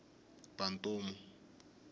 bantomu